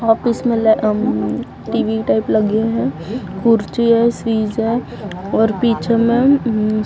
office में ले हम्म टी_वी टाइप लगे है कुर्ची है फ्रिज है और पीछे मैं हम्म --